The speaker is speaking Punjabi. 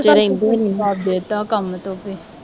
ਰਿੰਕੂ ਨੂੰ ਜਵਾਬ ਦੇ ਦਿੱਤਾ ਕੰਮ ਤੋਂ ਫੇਰ